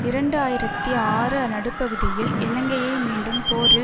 இரண்டு ஆயிரத்தி ஆறு நடுப்பகுதியில் இலங்கையை மீண்டும் போரில்